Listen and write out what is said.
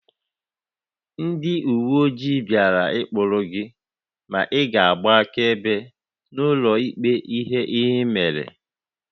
Ndị uwe ojii bịara ịkprụ gị ma ị ga-agba akaebe n'ụlọ ikpe ihe ị mere